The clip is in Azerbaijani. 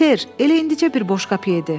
Ser, elə indicə bir boşqap yedi.